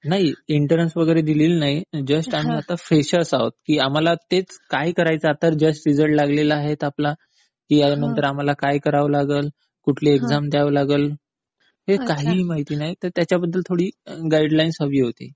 नाही, एन्ट्रन्स वगैरे दिलेली नाही. जस्ट आम्ही आता फ्रेशर्स आहोत की आम्हाला तेच काय करायचं आता जस्ट रिझल्ट लागलेला आहे तर आम्हाला काय करावं लागेल, कुठली एक्साम द्यावी लागेल, हे काहीही माहिती नाही तर त्याच्याबद्दल थोडी गाईडलाईन्स हवी होती.